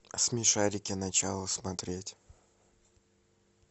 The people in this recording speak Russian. смешарики начало смотреть